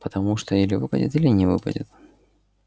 потому что или выпадет или не выпадет